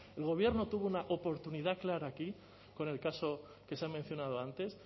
el gobierno tuvo una oportunidad clara aquí con el caso que se ha mencionado antes